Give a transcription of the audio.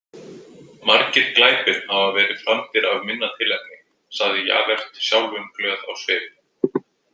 Margir glæpir hafa verið framdir af minna tilefni, sagði Javert sjálfumglöð á svip.